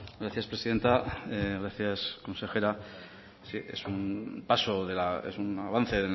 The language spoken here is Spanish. gracias presidenta gracias consejera es un avance